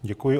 Děkuji.